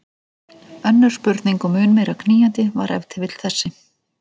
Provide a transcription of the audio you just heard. Önnur spurning og mun meira knýjandi var ef til vill þessi